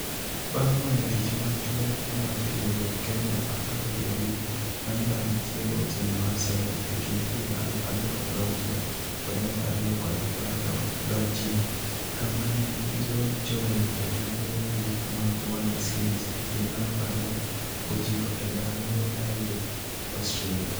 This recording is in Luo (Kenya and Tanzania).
Bang' weyo tich machuok mar tiego Kenya apar gi abich, Ayimba ne tiego tim mar Sevens e kind higa aluf ariyo gauchie kod aluf ariyo kod apar gachiel, kama ne gilochoe e tuke mogik mag World Series e higa aluf ariyo gochiko e Adelaide, Australia.